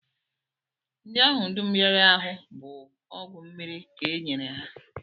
Ndị ahụ dum rịara ahụ bụ ọgwụ mmiri ka e nyere ha